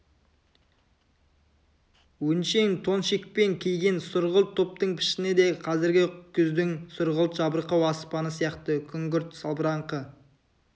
өңшең тон шекпен киген сұрғылт топтың пішіні де қазіргі күздің сұрғылт жабырқау аспаны сияқты күңгірт салбыраңқы